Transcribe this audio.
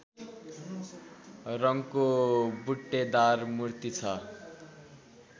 रङको बुट्टेदार मूर्ति छ